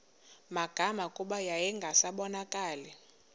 magama kuba yayingasabonakali